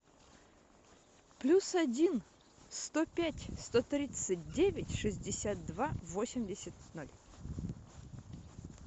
плюс один сто пять сто тридцать девять шестьдесят два восемьдесят ноль